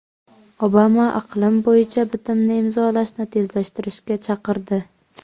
Obama iqlim bo‘yicha bitimni imzolashni tezlashtirishga chaqirdi.